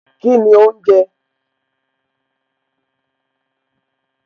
Kíni òhún jẹ